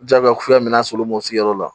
Jagoya filɛ min na solomɔ sigi yɔrɔ la